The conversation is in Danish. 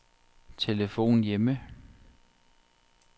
telefon hjemme